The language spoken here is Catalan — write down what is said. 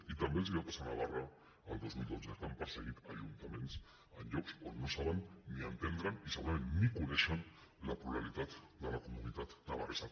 i també els va passar a navarra el dos mil dotze que han perseguit ajuntaments en llocs on no saben ni entenen i segurament ni coneixen la pluralitat de la comunitat navarresa